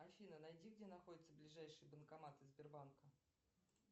афина найди где находятся ближайшие банкоматы сбербанка